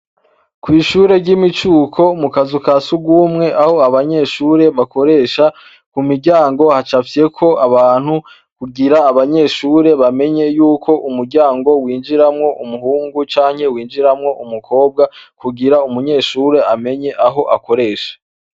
Kw'ishure ry'imicuko mu kazu ka surwumwe aho abanyeshure bakoresha ku muryango hacafyeko abantu kugira abanyeshure bamenye yuko umuryango winjiramwo umubungu canke winjiramwo umukobwa kugira umunyeshure amenye aho akoresha.